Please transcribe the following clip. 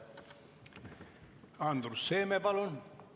Andrus Seeme, palun!